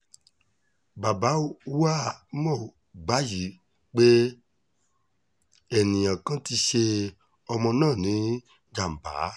bàbá wàá mọ̀ wàyí pé eniyan kan ti ṣẹ ọmọ náà níjàǹbá